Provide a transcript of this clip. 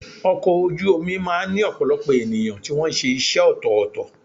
Ọkọ̀ ojú omi máà ń ní ọ̀pọ̀lọpọ̀ ènìyàn tí wọ́n ṣe iṣẹ́ ọ̀tọ̀ọ̀tọ̀.